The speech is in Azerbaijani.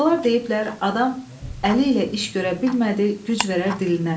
Atalar deyiblər: Adam əli ilə iş görə bilmədi, güc verər dilinə.